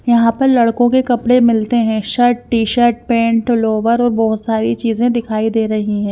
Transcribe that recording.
यहां पर लड़कों के कपड़े मिलते हैं शर्ट टी-शर्ट पेंट लोवर और बहुत सारी चीजें दिखाई दे रही हैं।